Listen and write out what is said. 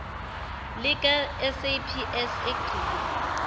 lika saps egcina